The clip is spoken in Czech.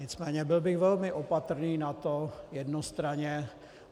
Nicméně byl bych velmi opatrný na to jednostranně.